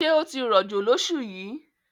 Ṣé ó ti rọ̀jò lọ́ṣù yìí?